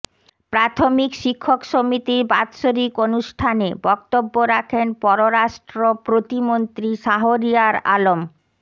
প্রাথমিক শিক্ষক সমিতির বাৎসরিক অনুষ্ঠানে বক্তব্য রাখেন পররাষ্ট্র প্রতিমন্ত্রী শাহরিয়ার আলম